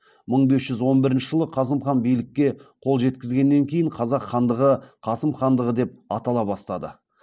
мың бес жүз он бірінші жылы қасым хан билікке қол жеткізгеннен кейін қазақ хандығы қасым хандығы деп атала бастады